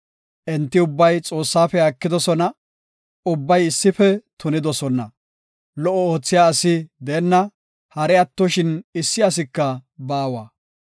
Enti ubbay Xoossaafe haakidosona; ubbay issife tunidosona. Lo77o oothiya asi deenna; hari attoshin issi asika baawa.